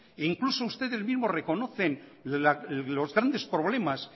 e incluso ustedes mismos reconocen los grandes problemas